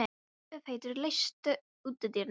Úlfheiður, læstu útidyrunum.